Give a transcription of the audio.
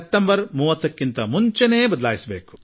September 30ಕ್ಕಿಂತ ಮುಂಚೆ ಬದಲಾಯಿಸಬೇಕಾಗಿದೆ